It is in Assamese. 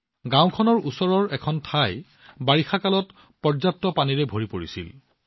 গাওঁখনৰ ওচৰত এডোখৰ ঠাইত বাৰিষাৰ সময়ত যথেষ্ট পানী সংগ্ৰহ কৰা হৈছিল